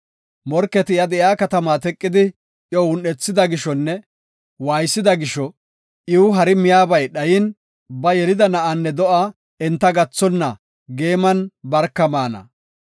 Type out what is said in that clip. Morketi iya de7iya katamaa teqidi iyo un7ethida gishonne waaysida gisho, iw hari miyabay dhayin, ba yelida na7aanne do7aa enta gathonna geeman barka maana.